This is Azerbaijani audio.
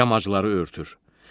Yamacları örtür.